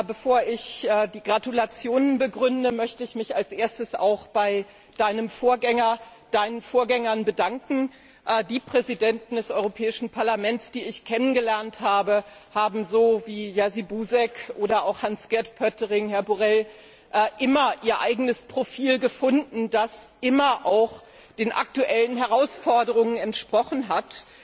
Bevor ich die Gratulation begründe, möchte ich mich als Erstes auch bei Deinen Vorgängern bedanken. Die Präsidenten des Europäischen Parlaments, die ich kennengelernt habe, haben so wie Jerzy Buzek oder auch Hans Gert Pöttering, Herr Borrell Fontelles immer ihr eigenes Profil gefunden, das immer auch den aktuellen Herausforderungen entsprochen hat.